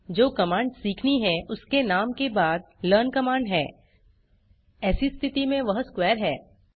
जो कमांड सीखनी है उसके नाम के बाद लर्न कमांड है ऐसी स्थिति में वह स्क्वेयर है